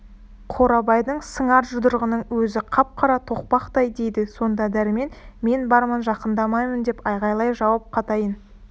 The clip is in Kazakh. қорабайдың сыңар жұдырығының өзі қап-қара тоқпақтай дейді сонда дәрмен мен бармын жақындамын деп айғайлап жауап қатайын